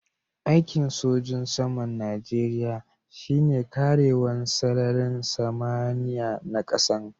Aiki'n sojin saman Nijeriya shine karewan sararin samaniya na kasan.